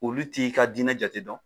Olu t'i ka diinɛ jate dɔn